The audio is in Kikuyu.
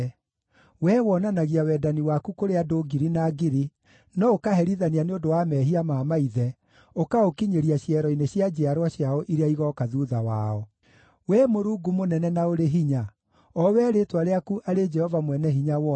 Wee wonanagia wendani waku kũrĩ andũ ngiri na ngiri, no ũkaherithania nĩ ũndũ wa mehia ma maithe, ũkaũkinyĩria ciero-inĩ cia njiarwa ciao iria igooka thuutha wao. Wee Mũrungu mũnene na ũrĩ hinya, o wee rĩĩtwa rĩaku arĩ Jehova Mwene-Hinya-Wothe,